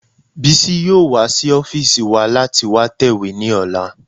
Bísí yóò wá sí ọ́fìsì wa láti wá tẹ̀wé ní ọ̀la